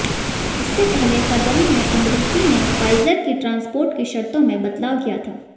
इससे पहले फरवरी में अमरीकी ने फाइजर के ट्रांसपोर्ट की शर्तों में बदलाव किया था